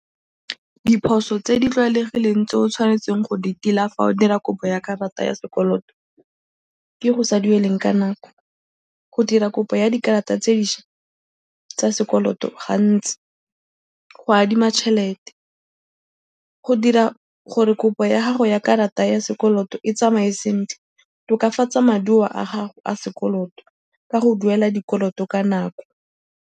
Diphoso tse di tlwaelegileng tse o tshwanetseng go di tila fa o dira kopo ya karata ya sekoloto ke go sa dueleng ka nako, go dira kopo ya dikarata tse dišwa tsa sekoloto gantsi, go adima tšhelete, go dira gore kopo ya gago ya karata ya sekoloto e tsamaye sentle, tokafatsa maduo a gago a sekoloto ka go duela dikoloto ka nako.